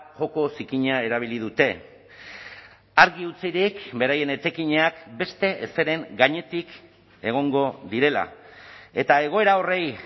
joko zikina erabili dute argi utzirik beraien etekinak beste ezeren gainetik egongo direla eta egoera horri